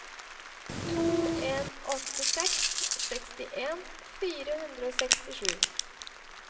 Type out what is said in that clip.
to en åtte seks sekstien fire hundre og sekstisju